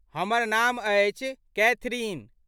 हमर नाम अछि कैथरिन।